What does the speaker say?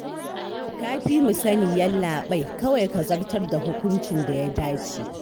Ka fi mu sani Yallaɓai, kawai ka zartar da hukuncin da ya dace